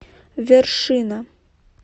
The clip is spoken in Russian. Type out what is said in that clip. вершина